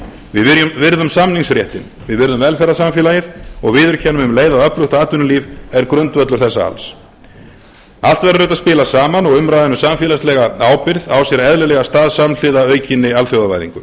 við virðum samningsréttinn við virðum velferðarsamfélagið og viðurkennum um leið að öflugt atvinnulíf er grundvöllur þessa alls allt verður þetta að spila saman og umræðan um samfélagslega ábyrgð á sér eðlilega stað samhliða aukinni alþjóðavæðingu